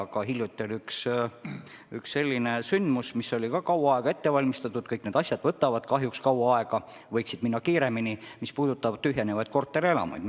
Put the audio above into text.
Aga hiljuti oli üks selline sündmus, mida oli kaua aega ette valmistatud – kõik need asjad võtavad kahjuks kaua aega, võiksid minna kiiremini – ja mis puudutas tühjenevaid korterelamuid.